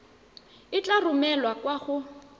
e tla romelwa kwa go